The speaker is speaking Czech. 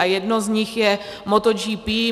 A jedno z nich je MotoGP.